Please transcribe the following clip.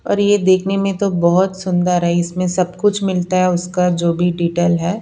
और ये देखने में तो बहुत सुंदर है इसमें सब कुछ मिलता है उसका जो भी डिटेल है।